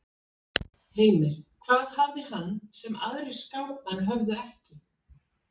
Heimir: Hvað hafði hann sem að aðrir skákmenn höfðu ekki?